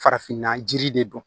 Farafinna jiri de don